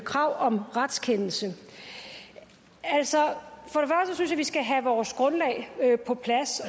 krav om retskendelse altså at vi skal have vores grundlag på plads